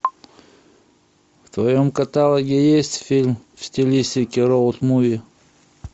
в твоем каталоге есть фильм в стилистике роуд муви